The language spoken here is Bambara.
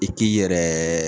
I k'i yɛrɛ